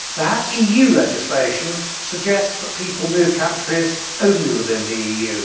To have EU legislation suggests that people move between countries only within the EU.